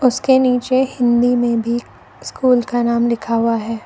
इसके नीचे हिंदी में भी स्कूल का नाम लिखा हुआ है।